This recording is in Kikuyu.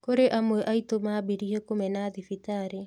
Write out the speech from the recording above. Kũrĩ amwe aitũ maambirie kũmena thibitarĩ